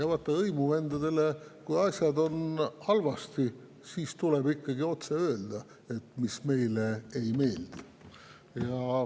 Vaata, kui asjad on halvasti, siis tuleb hõimuvendadele ikkagi otse öelda, mis meile ei meeldi.